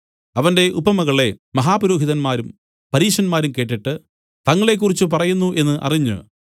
അവന്റെ ഉപമകളെ മഹാപുരോഹിതന്മാരും പരീശന്മാരും കേട്ടിട്ട് തങ്ങളെക്കുറിച്ച് പറയുന്നു എന്നു അറിഞ്ഞ്